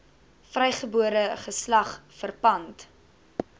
vrygebore geslag verpand